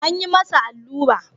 An yi masa allura.